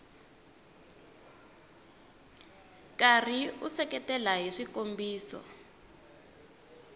karhi u seketela hi swikombiso